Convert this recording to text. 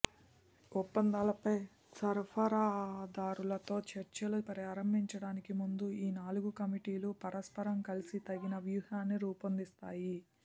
ఒప్పందాలపై సరఫరాదారులతో చర్చలు ప్రారంభించడానికి ముందు ఈ నాలుగు కమిటీలు పరస్పరం కలిసి తగిన వ్యూహాన్ని రూపొందిస్తాయి